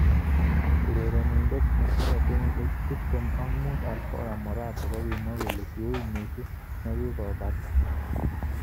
Urenenindet netinye kenyishek tip tem ak mut Alvaro Morata kokimwa kole ki ui missing nekokobata.